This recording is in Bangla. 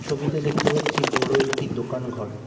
ছবিতে দেখতে পাচ্ছি বড় একটি দোকান ঘর।